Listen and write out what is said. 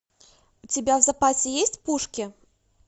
у тебя в запасе есть пушки